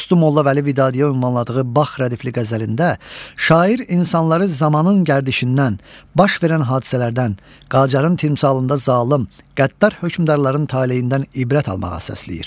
Dostu Molla Vəli Vidadiyə ünvanladığı Bax rədifli qəzəlində şair insanları zamanın gərdişindən, baş verən hadisələrdən, Qacarın timsalında zalım, qəddar hökmdarların taleyindən ibrət almağa səsləyir.